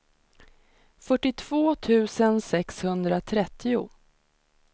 fyrtiotvå tusen sexhundratrettio